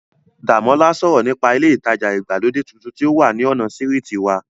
Dàmọ́lá sọ̀rọ̀ nípa ilé ìtajà ìgbàlódé tuntun tí ó ní ọ̀nà sírìtì wa